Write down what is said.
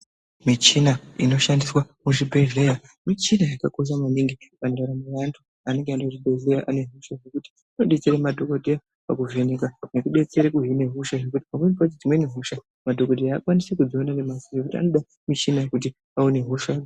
Michina inoshandiswa muzvibhedhlera , michina yakakosha maningi pandaramo yeantu anenge aenda kuzvibhedhlera anezvishuwo zvekuti anobetsere madhokodheya pakuvheneka nekubetsere kuhine hosha nekuti pamweni pacho dzimweni hosha madhokodheya haakwanisi kudziona nemaziso zvekuti anode michina kuti aone hosha .